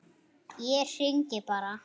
Ég hringi bara.